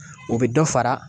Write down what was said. O bɛ dɔ fara